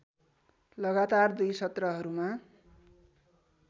लगातार दुई सत्रहरूमा